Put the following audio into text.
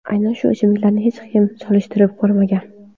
Aynan shu ichimliklarni hech kim solishtirib ko‘rmagan.